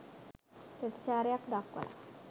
ප්‍රතිචාරයක් දක්වල